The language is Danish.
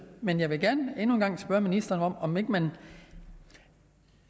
men jeg vil gerne endnu en gang spørge ministeren om om ikke man